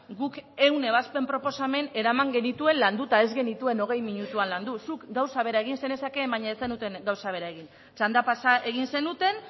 guk ehun ebazpen proposamen eraman genituen landuta ez genituen hogei minutuan landu zuk gauza bera egin zenezakeen baina ez zenuten gauza bera egin txanda pasa egin zenuten